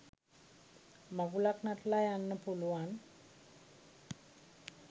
මඟුලක් නටල යන්න පුළුවන්